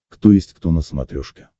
кто есть кто на смотрешке